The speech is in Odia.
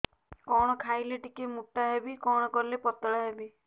କଣ ଖାଇଲେ ଟିକେ ମୁଟା ହେବି କଣ କଲେ ପତଳା ହେବି